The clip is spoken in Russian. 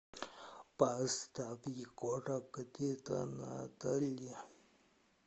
поставь егора крида надо ли